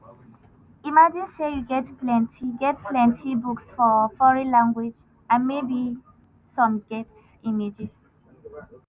imagine say you get plenti get plenti books for foreign language and maybe some get images.